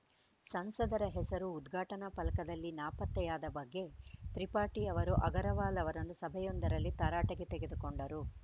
ಸಂಸದರ ಹೆಸರು ಉದ್ಘಾಟನಾ ಫಲಕದಲ್ಲಿ ನಾಪತ್ತೆಯಾದ ಬಗ್ಗೆ ತ್ರಿಪಾಠಿ ಅವರು ಅಗರ್‌ವಾಲ್‌ ಅವರನ್ನು ಸಭೆಯೊಂದರಲ್ಲಿ ತರಾಟೆಗೆ ತೆಗೆದುಕೊಂಡರು